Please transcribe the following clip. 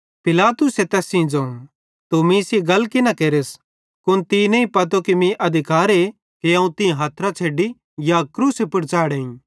पिलातुसे तैस सेइं ज़ोवं तू मीं सेइं गल कि न केरस कुन तीं पतो नईं कि मीं अधिकार कि अवं तीं हथरां छ़ैडी या क्रूसे पुड़ च़ैढ़ेईं